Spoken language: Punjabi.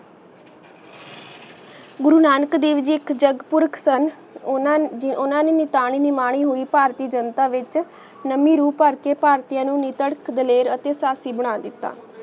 ਗੁਰੂ ਨਾਨਕ ਦੇਵ ਜੀ ਇਕ ਜਾਗ ਪੁਰਾਖ੍ਤਾਂ ਓਨਾ ਜੀ ਓਨਾ ਨੇ ਮੇਨੂ ਤਨੀ ਨਿਮਾਣੀ ਹੁਣੀ ਫਾਰਤੀ ਜਨਤਾ ਵਿਚ ਨਾਮੀ ਰੁ ਪਰ ਕੇ ਫਾਰ੍ਤੀਯ ਨੂ ਨੀ ਤਰਕ ਦਲੀਲ ਅਤੀ ਸਸਿ ਬਣਾ ਦਿੱਤਾ